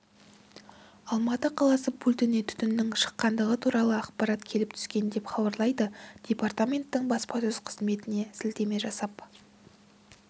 алматы қаласы пультіне түтіннің шыққандығы туралы ақпарат келіп түскен деп хабарлайды департаменттің баспасөз-қызметіне сілтеме жасап